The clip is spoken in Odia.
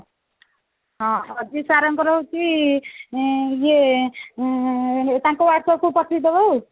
ହଁ ଅଜୟ sir ଙ୍କର ହଉଛି ଆଁ ଇଏ ଆଁ ତାଙ୍କ whatsapp କୁ ପଠେଇଦବ ଆଉ